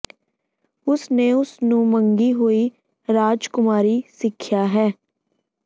ਉਸ ਨੇ ਉਸ ਨੂੰ ਮੰਗੀ ਹੋਈ ਰਾਜਕੁਮਾਰੀ ਸਿੱਖਿਆ ਹੈ